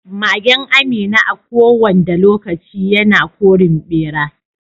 Magen Amina a ko wanda lokaci yana korin ɓera.